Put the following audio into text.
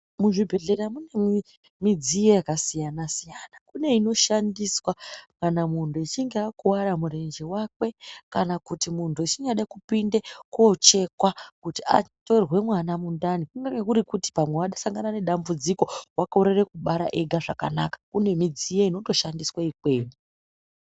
Muzvibhedhlera mune midziyo yakasiyana siyana. Kune inoshandiswa kana muntu echinge akuwara murenje wake kana kuti muntu echingade kupinde koochekwa kuti atorwe mwana mundani kunenge kuri kuti pamwe wasangana nedambudziko wakorere kubara ega zvakanaka kune midziyo inotoshandiswa ikweyo.